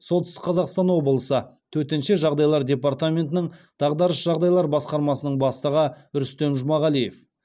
солтүстік қазақстан облысы төтенше жағдайлар департаментінің дағдарыс жағдайлар басқармасының бастығы рүстем жұмағалиев